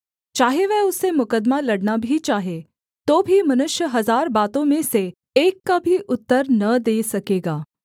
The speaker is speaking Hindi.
चाहे वह उससे मुकद्दमा लड़ना भी चाहे तो भी मनुष्य हजार बातों में से एक का भी उत्तर न दे सकेगा